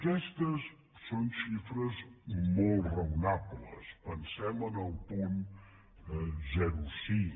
aquestes són xifres molt raonables pensem en el punt zero coma cinc